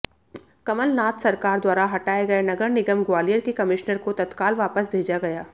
कमलनाथ सरकार द्वारा हटाए गए नगर निगम ग्वालियर के कमिश्नर को तत्काल वापस भेजा गया